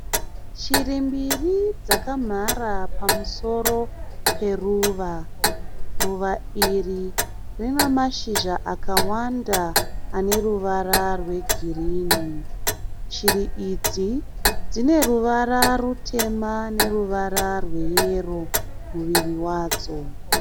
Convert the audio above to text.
Shiri mbiri dzakamhara pamusoro peruva. Ruva iri rina mashizha akawanda ane ruvara rwe girinhi. Shiri idzi dzine ruvara rutema neruvara rwe yero muviri wadzo.